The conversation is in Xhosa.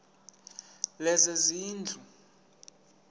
lezezindlu